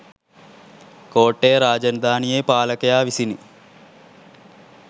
කෝට්ටේ රාජධානියේ පාලකයා විසිනි